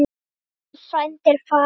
Góður frændi er farinn.